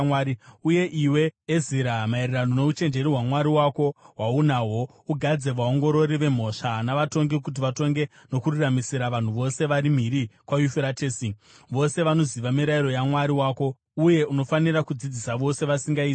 Uye iwe, Ezira, maererano nouchenjeri hwaMwari wako, hwaunahwo, ugadze vaongorori vemhosva, navatongi kuti vatonge nokururamisira vanhu vose vari mhiri kwaYufuratesi, vose vanoziva mirayiro yaMwari wako. Uye unofanira kudzidzisa vose vasingaizivi.